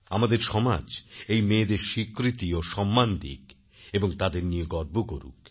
আমাদের সমাজ এই মেয়েদের স্বীকৃতি ও সম্মান দিকএবং তাদের নিয়ে গর্ব করুক